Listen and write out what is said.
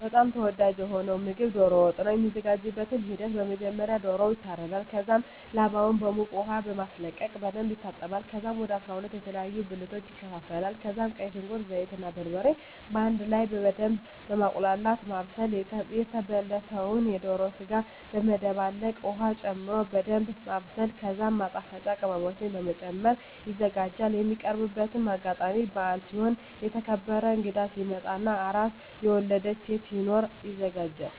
በጣም ተወዳጂ የሆነዉ ምግብ ዶሮ ወጥ ነዉ። የሚዘጋጅበትም ሂደት በመጀመሪያ ዶሮዉ ይታረዳል ከዛም ላባዉን በዉቅ ዉሃ በማስለቀቅ በደንብ ይታጠባል ከዛም ወደ 12 የተለያዩ ብልቶች ይከፋፈላል ከዛም ቀይ ሽንኩርት፣ ዘይት እና በርበሬ በአንድ ላይ በደምብ በማቁላላት(በማብሰል) የተበለተዉን የዶሮ ስጋ በመደባለቅ ዉሀ ጨምሮ በደንምብ ማብሰል ከዛም ማጣፈጫ ቅመሞችን በመጨመር ይዘጋጃል። የሚቀርብበትም አጋጣሚ በአል ሲሆን፣ የተከበረ እንግዳ ሲመጣ እና አራስ (የወለደች ሴት) ሲኖር ይዘጋጃል።